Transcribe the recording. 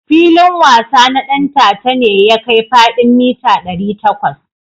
Filin wasa na Ɗantata ne ya kai fadin mita dari takwas.